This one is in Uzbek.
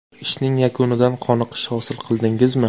Ishning yakunidan qoniqish hosil qildingizmi?